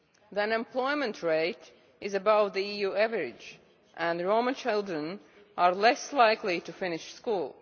The unemployment rate is above the EU average, and Roma children are less likely to finish school.